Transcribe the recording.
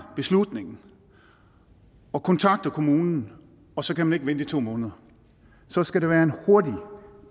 beslutningen og kontakter kommunen og så kan man i to måneder så skal det være en hurtig